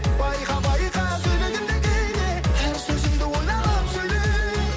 байқа байқа сөйлегенде кейде әр сөзіңді ойланып сөйле